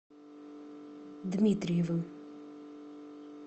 дмитриевым